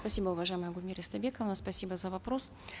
спасибо уважаемая гульмира истайбековна спасибо за вопрос